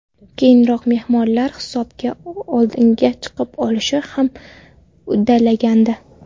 Keyinroq mehmonlar hisobda oldinga chiqib olishni ham uddalagandi.